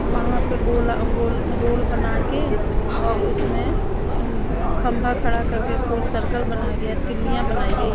वहां पे गोला गोल गोल बना के और उसमें खंभा खड़ा करके गोल सर्कल बनाया गया तिल्लियां बनाई गई .